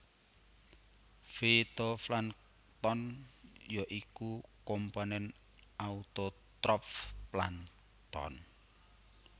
Fitoplankton ya iku komponen autotrof plankton